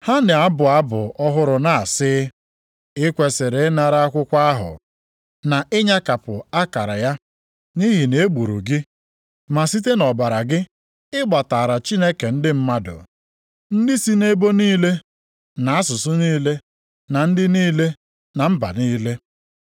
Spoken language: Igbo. Ha na-abụ abụ ọhụrụ na-asị, “I kwesiri ịnara akwụkwọ ahụ na ịnyakapụ akara ya, nʼihi na e gburu gị, ma site nʼọbara gị, ị gbataara Chineke ndị mmadụ, ndị si nʼebo niile, na asụsụ niile, na ndị niile, na mba niile.